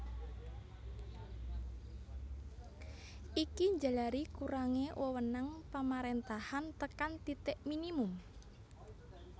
Iki njalari kurangé wewenang pamaréntahan tekan titik minimum